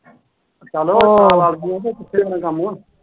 ਚਲੋ ਨਾਲ ਰਲ਼ਗੀਆਂ ਤੇ ਖਿੱਚਿਆ ਜਾਣਾ ਕੰਮ।